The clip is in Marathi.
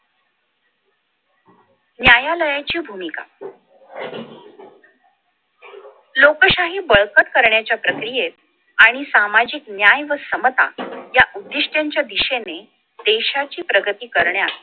न्यायालयाची भूमिका लोकशाही बळकट करण्याच्या प्रक्रियेत आणि सामाजिक न्याय व समता या उद्दिष्ठाच्या दिशेने देशाची प्रगती करण्यात